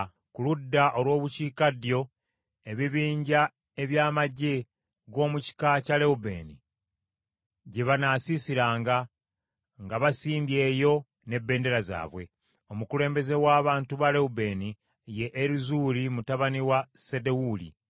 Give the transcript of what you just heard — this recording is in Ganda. Ku ludda olw’obukiikaddyo ebibinja eby’amaggye g’omu kika kya Lewubeeni gye banaasiisiranga, nga basimbye eyo n’ebendera yaabwe. Omukulembeze w’abantu ba Lewubeeni ye Erizuuli mutabani wa Sedewuli.